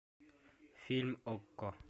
фильм окко